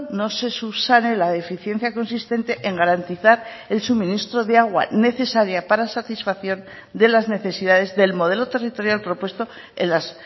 no se subsane la deficiencia consistente en garantizar el suministro de agua necesaria para satisfacción de las necesidades del modelo territorial propuesto en las